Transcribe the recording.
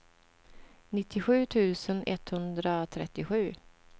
nittiosju tusen etthundratrettiosju